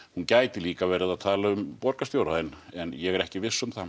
hún gæti líka verið að tala um borgarstjóra en en ég er ekki viss um það